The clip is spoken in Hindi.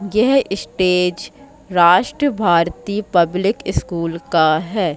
यह stage Rashtra Bharatiya public school का है।